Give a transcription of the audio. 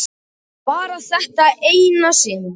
En bara þetta eina sinn.